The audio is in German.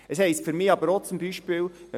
Für mich heisst das aber zum Beispiel auch